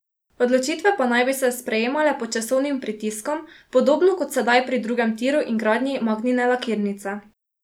Odločitve pa naj bi se sprejemale pod časovnim pritiskom, podobno kot sedaj pri drugem tiru in gradnji Magnine lakirnice.